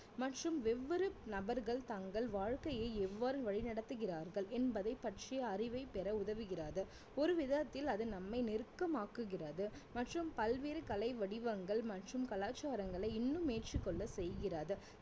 மற்றும் ஒவ்வொரு நபர்கள் தங்கள் வாழ்க்கையை எவ்வாறு வழிநடத்துகிறார்கள் என்பதை பற்றிய அறிவை பெற உதவுகிறது ஒரு விதத்தில் அது நம்மை நெருக்கமாக்குகிறது மற்றும் பல்வேறு கலை வடிவங்கள் மற்றும் கலாச்சாரங்களை இன்னும் ஏற்றுக்கொள்ள செய்கிறது